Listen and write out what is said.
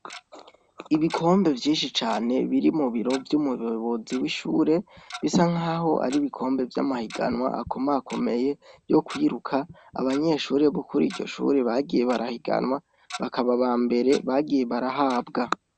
Ibikombe vyinshi cane biri mubiro vy'umuyobozi w'ishure, bisa nkaho ari ibikombe vy'amahiganwa akomakomeye yo kwiruka ,abanyeshure bo kuri ryo shuri bagiye barahiganwa bakaba abambere bagiye barahabwa.